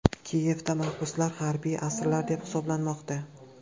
Kiyevda mahbuslar harbiy asirlar deb hisoblanmoqda.